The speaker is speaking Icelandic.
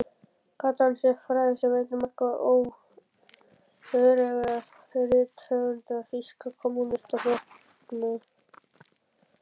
Gat hann sér frægð sem einn margra öreigarithöfunda Þýska kommúnistaflokksins.